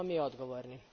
Svi smo mi odgovorni.